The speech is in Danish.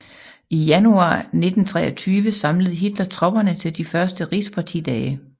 I januar 1923 samlede Hitler tropperne til de første Rigspartidage